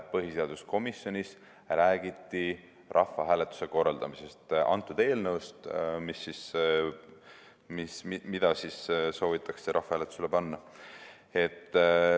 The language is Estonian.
Põhiseaduskomisjonis räägiti rahvahääletuse korraldamisest, antud eelnõust, mida soovitakse rahvahääletusele panna.